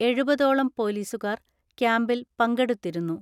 എഴുപതോളം പോലീസുകാർ ക്യാമ്പിൽ പങ്കെടുത്തിരുന്നു.